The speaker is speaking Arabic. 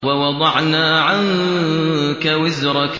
وَوَضَعْنَا عَنكَ وِزْرَكَ